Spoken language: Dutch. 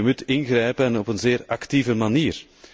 U moet ingrijpen en op een zeer actieve manier.